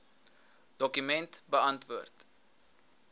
dokument beantwoord